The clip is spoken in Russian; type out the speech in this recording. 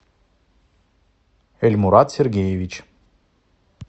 эльмурад сергеевич